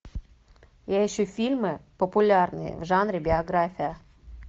я ищу фильмы популярные в жанре биография